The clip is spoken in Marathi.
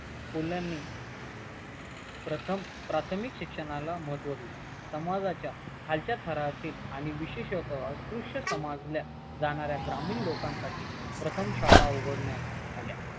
फुल्यानी प्रथम प्राथमिक शिक्षणाला महत्व दिले समाजाच्या खालच्या थरातील आणि विशेष अस्पृश्य समजल्या जाणाऱ्या ग्रामीण लोकांनसाठी प्रथम शाळा उघडण्यास आल्या